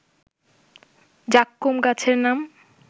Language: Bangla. যাক্কুম গাছের নাম